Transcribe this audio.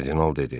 Kardinal dedi.